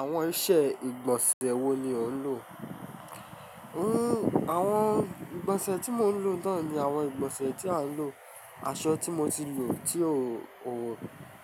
Àwọn iṣẹ́ ìgbọ̀nsẹ̀ wo ni ò ń lò? Àwọn ìgbọ̀nsẹ̀ tí mò ń lò naa ni àwọn ìgbọ̀nsẹ̀ tí à ń lò. Aṣọ tí mo ti lò tí ò,